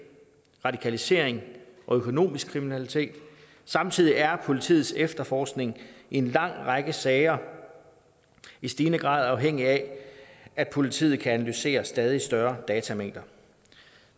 radikalisering og økonomisk kriminalitet samtidig er politiets efterforskning i en lang række sager i stigende grad afhængig af at politiet kan analysere stadig større datamængder